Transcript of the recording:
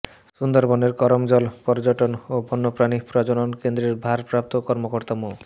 সুন্দরবনের করমজল পর্যটন ও বন্যপ্রাণী প্রজনন কেন্দ্রের ভারপ্রাপ্ত কর্মকর্তা মো